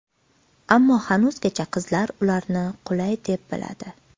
Ammo hanuzgacha qizlar ularni qulay deb biladi.